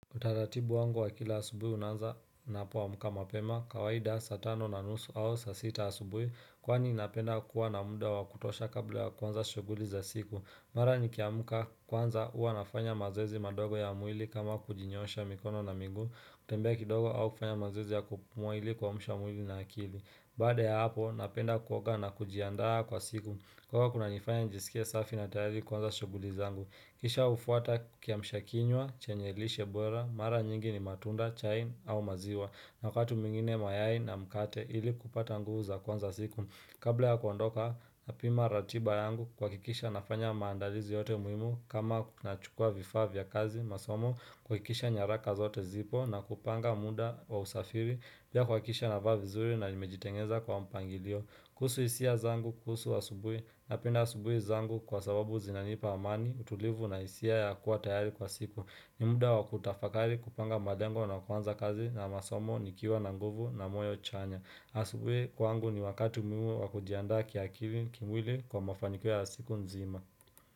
Utaratibu wangu wa kila asubui unaanza nina poamka mapema kawaida saatano na nusu au saa sita asubui Kwani napenda kuwa na muda wa kutosha kabla ya kuanza shuguli za siku Mara ni kiamka kwanza uwa nafanya mazoezi madogo ya mwili kama kujinyoosha mikono na miguu Utembea kidogo au kufanya mazoezi ya kupumua ili kuamusha mwili na akili Baada ya hapo napenda kuoga na kujiandaa kwa siku Kwa kuna nifanya njisikie safi na tayari kuanza shuguli za ngu Kisha ufuata kia mshakinywa, chenyelishe bora, mara nyingi ni matunda, chai au maziwa. Wakati mwingine mayai na mkate ili kupata nguvu za kuanza siku. Kabla ya kuondoka na pima ratiba yangu kua kikisha nafanya maandalizi yote muhimu kama na chukua vifaa vya kazi masomo. Kuakikisha nyaraka zote zipo na kupanga muda wa usafiri pia kuakikisha navaa vizuri na nimejitengeza kwa mpangilio. Kuhusu isia zangu kuhusu asubui na penda asubui zangu kwa sababu zinanipa amani utulivu na isia ya kuwa tayari kwa siku. Nimuda wakutafakari kupanga malengo na kuanza kazi na masomo nikiwa na nguvu na moyo chanya. Asubui kwangu ni wakati muhimu wa kujiandaa kiakili kimwili kwa mafanikio ya siku nzima.